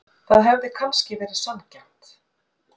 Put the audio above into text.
Það hefði kannski verið sanngjarnt.